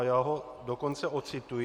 A já ho dokonce ocituji.